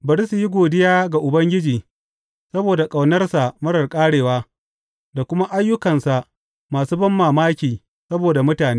Bari su yi godiya ga Ubangiji saboda ƙaunarsa marar ƙarewa da kuma ayyukansa masu banmamaki saboda mutane.